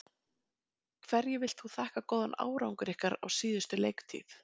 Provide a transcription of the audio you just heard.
Hverju viltu þakka góðan árangur ykkar á síðustu leiktíð?